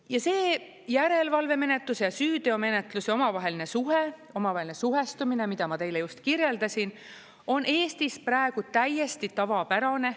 Ja see järelevalvemenetluse ja süüteomenetluse omavaheline suhe, omavaheline suhestumine, mida ma teile just kirjeldasin, on Eestis praegu täiesti tavapärane.